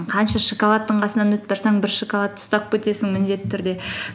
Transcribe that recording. қанша шоколадтың қасынан өтіп бара жатсаң бір шоколадты ұстап кетесің міндетті түрде